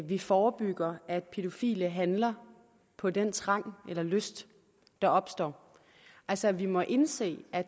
vi forebygger at pædofile handler på den trang eller lyst der opstår altså vi må indse at